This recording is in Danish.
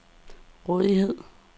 rådighed